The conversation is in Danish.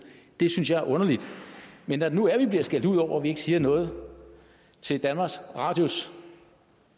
det synes jeg er underligt men når det nu er at vi bliver skældt ud over at vi ikke siger noget til danmarks radios